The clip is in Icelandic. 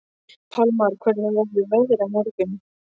Pálmar, hvernig verður veðrið á morgun?